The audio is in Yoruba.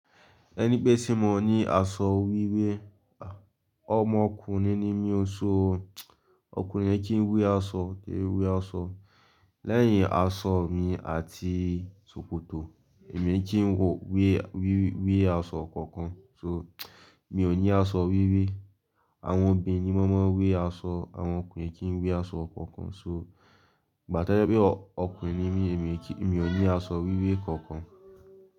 Ẹni pẹ́ sé mọ ní aṣọ wíwé, ọmọ ọkùnrin ni mí ó so. Ọkùnrin kìí wi aṣọ, kìì wé aṣọ. Lẹ́yìn aṣọ mi àti ṣòkòtò èmi kìí wò pé wí wé aṣọ kankan so mi ò ní aṣọ wíwé. Àwọn obìnrin ni wọn máa ń wé aṣọ, àwọn ọkùnrin kìí wé aṣọ kankan so igba tẹ́lẹ̀ pé ọkùnrin ni mí, èmi kìí, mi ò ní aṣọ wíwé kankan.